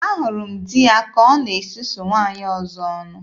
Ahụrụ m di ya ka ọ na-esusu nwaanyị ọzọ ọnụ.